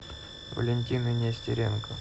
валентины нестеренко